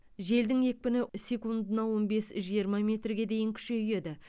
желдің екпіні секундына он бес жиырма метрге дейін күшейеді